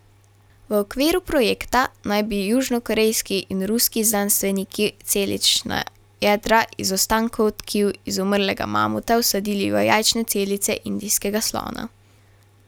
V okviru projekta naj bi južnokorejski in ruski znanstveniki celična jedra iz ostankov tkiv izumrlega mamuta vsadili v jajčne celice indijskega slona.